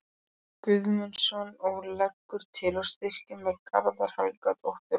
Guðmundsson og leggur til að styrkir til Gerðar Helgadóttur og